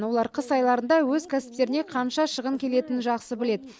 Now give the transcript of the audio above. олар қыс айларында өз кәсіптеріне қанша шығын келетінін жақсы біледі